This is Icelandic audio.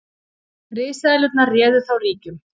risaeðlurnar réðu þá ríkjum